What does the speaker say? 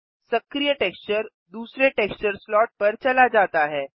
सक्रिय टेक्सचर दूसरे texture slot पर चला जाता है